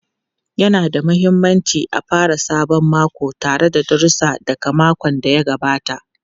Yana da mahimmanci a fara sabon mako tare da darussa daga makon da ya gabata.